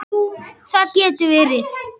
Jú, það getur verið.